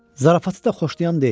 Zarafatçılı da xoşlayan deyil.